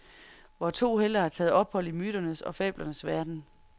Vore to helte har taget ophold i myternes og fablernes verden.